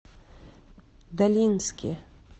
долинске